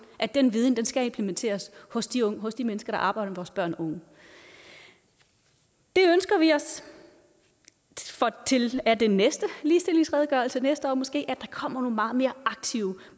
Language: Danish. at den viden skal implementeres hos de hos de mennesker der arbejder med vores børn og unge det ønsker vi os af den næste ligestillingsredegørelse næste år måske kommer nogle meget mere aktive